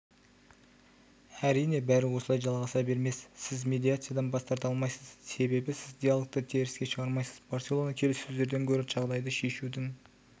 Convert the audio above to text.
әрине бәрі осылай жалғаса бермес сіз медиациядан бас тарта алмайсыз себебі сіз диалогты да теріске шығармайсыз барселона келіссөздерден гөрі жағдайды шешудің